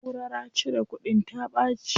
Naʼurara cire kudin ta ɓaci.